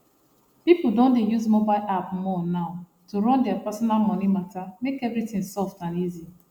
people don dey use mobile app more now to run their personal money matter make everything soft and easy